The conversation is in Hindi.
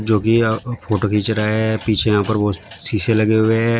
जो कि यह फोटो खींच रहा है पीछे यहां पर बहोत शीशे लगे हुए हैं।